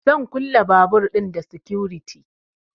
Zan kulle babur ɗin da sikuriti